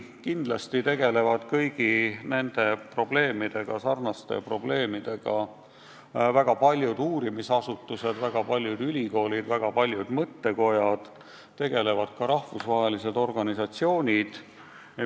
Kindlasti tegelevad kõigi selliste probleemidega väga paljud uurimisasutused, väga paljud ülikoolid, väga paljud mõttekojad, ka rahvusvahelised organisatsioonid.